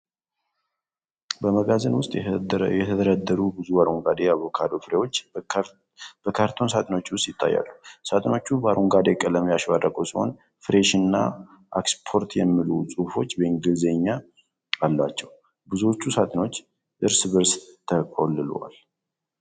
በመጋዘን ውስጥ የተደረደሩ ብዙ አረንጓዴ የአቮካዶ ፍሬዎች በካርቶን ሳጥኖች ውስጥ ይታያሉ። ሳጥኖቹ በአረንጓዴ ቀለም ያሸበረቁ ሲሆን፣ "ፍሬሽ" እና "እክስፖርት" የሚሉ ጽሑፎች በእንግሊዝኛ አሏቸው። ብዙዎቹ ሳጥኖችም እርስ በእርስ ተቆልለዋል።